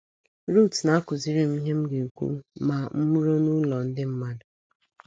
Ruth na - akụziri m ihe m ga - ekwu ma m ruo n’ụlọ ndị mmadụ.